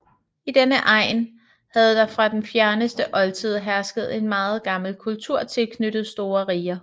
I denne egn havde der fra den fjerneste oldtid hersket en meget gammel kultur tilknyttet store riger